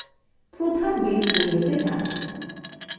প্রধান base window main